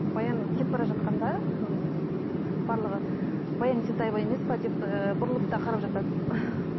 баян кетіп бара жатқанда ммм барлығы баян есентаева емес пе деп ііі бұрылып та қарап жатады